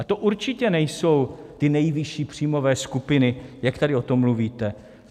A to určitě nejsou ty nejvyšší příjmové skupiny, jak tady o tom mluvíte.